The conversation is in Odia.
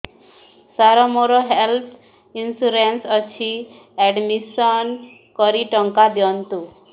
ସାର ମୋର ହେଲ୍ଥ ଇନ୍ସୁରେନ୍ସ ଅଛି ଆଡ୍ମିଶନ କରି ଟଙ୍କା ଦିଅନ୍ତୁ